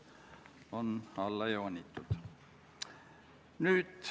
Kõnesoove ei ole.